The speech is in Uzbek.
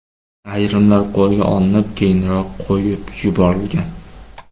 Ayrimlar qo‘lga olinib, keyinroq qo‘yib yuborilgan.